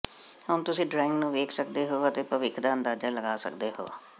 ਹੁਣ ਤੁਸੀਂ ਡਰਾਇੰਗ ਨੂੰ ਵੇਖ ਸਕਦੇ ਹੋ ਅਤੇ ਭਵਿੱਖ ਦਾ ਅੰਦਾਜ਼ਾ ਲਗਾ ਸਕਦੇ ਹੋ